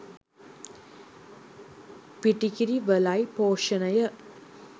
පිටිකිරි වලයි පෝෂණය